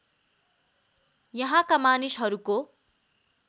यहाँका मानिसहरूको